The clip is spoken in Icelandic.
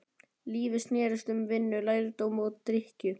Lífið snerist um vinnu, lærdóm og drykkju.